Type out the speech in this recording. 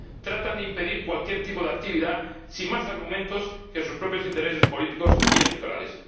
tratan de impedir cualquier tipo de actividad sin más argumentos que sus propios intereses políticos y electorales.